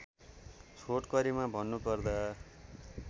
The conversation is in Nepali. छोटकरिमा भन्नु पर्दा